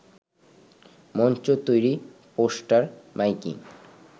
মঞ্চ তৈরি, poster, miking